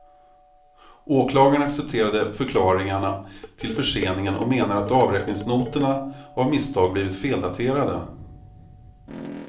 Åklagaren accepterade förklaringarna till förseningen och menar att avräkningsnoterna av misstag blivit feldaterade.